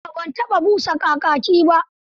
A'a ban taɓa busa kakaki ba.